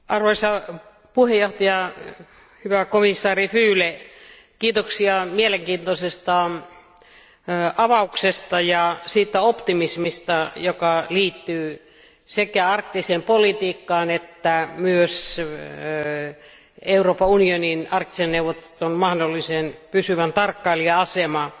Arvoisa puhemies, hyvä komission jäsen Füle, kiitoksia mielenkiintoisesta avauksesta ja siitä optimismista, joka liittyy sekä arktiseen politiikkaan että myös Euroopan unionin Arktisen neuvoston mahdolliseen pysyvän tarkkailijan asemaan.